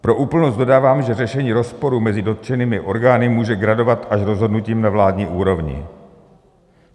Pro úplnost dodávám, že řešení rozporu mezi dotčenými orgány může gradovat až rozhodnutím na vládní úrovni.